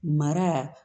Mara